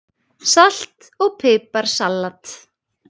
Salt og pipar salat